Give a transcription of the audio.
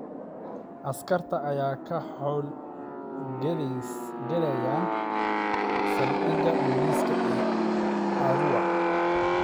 Askarta ayaa ka xoowl galayaan saldhiga booliska ee Arua.